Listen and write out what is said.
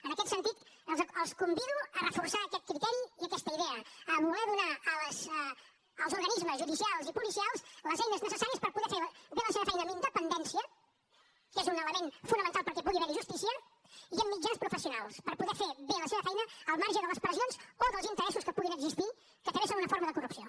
en aquest sentit els convido a reforçar aquest criteri i aquesta idea a voler donar als organismes judicials i policials les eines necessàries per poder fer bé la seva feina amb independència que és un element fonamental perquè pugui haver hi justícia i amb mitjans professionals per poder fer bé la seva feina al marge de les pressions o dels interessos que hi puguin existir que també són una forma de corrupció